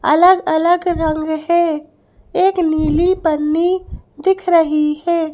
अलग अलग रंग है एक नीली पन्नी दिख रही हैं।